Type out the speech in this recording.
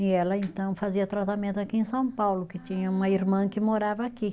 E ela, então, fazia tratamento aqui em São Paulo, que tinha uma irmã que morava aqui.